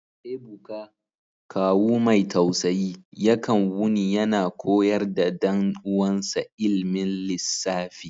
Ebuka, kawu mai tausayi, yakan wuni yana koyar da dan uwansa ilmin lissafi.